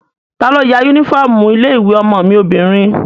Talo ya yúnífọ́ọ̀mù ilé-ìwé ọmọ mi obìnrin?